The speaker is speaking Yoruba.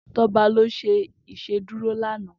Toba lò ṣé Ìṣédùró lànã